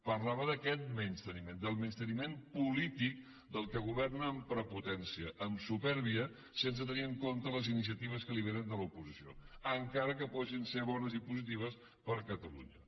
parlava d’aquest menysteniment del menysteniment polític del que governa amb prepotència amb supèrbia sense tenir en compte les iniciatives que li vénen de l’oposició encara que puguin ser bones i positives per a catalunya